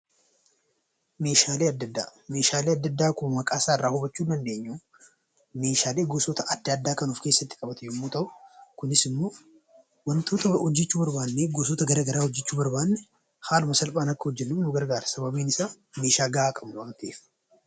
Meeshaalee adda addaa akkuma maqaa isaarraa hubachuu dandeenyu meeshaalee gosoota adda addaa kan of keessatti qabatu yommuu ta'u Kunis immoo wantoota hojjachuu barbaanne gosoota garaagaraa hojjachuu barbaanne haala salphaan akka hojjannuuf nu gargaara. Sababiin isaa meeshaa gahaa qabna waan ta'eef.